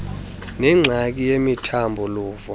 nengxaki yemithambo luvo